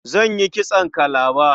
Zan yi kitson kalaba.